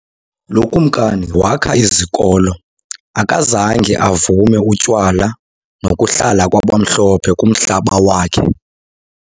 Lo Kumkani wakha izikolo, akazange avume utywala nokuhlala kwabamhlophe kumhlaba wakhe.